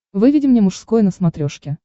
выведи мне мужской на смотрешке